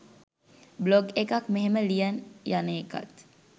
blog එකක් මෙහෙම ලියන් යන එකත්